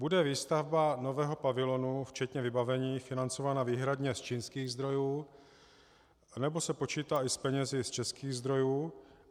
Bude výstavba nového pavilonu, včetně vybavení, financována výhradně z čínských zdrojů, nebo se počítá i s penězi z českých zdrojů?